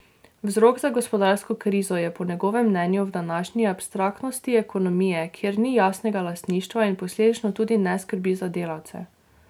Vzrok za gospodarsko krizo je po njegovem mnenju v današnji abstraktnosti ekonomije, kjer ni jasnega lastništva in posledično tudi ne skrbi za delavce.